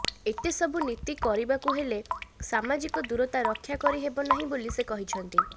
ଏତେ ସବୁ ନୀତି କରିବାକୁ ହେଲେ ସାମାଜିକ ଦୂରତା ରକ୍ଷା କରିହେବ ନାହିଁ ବୋଲି ସେ କହିଛନ୍ତି